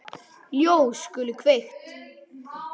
Ljós skulu kveikt.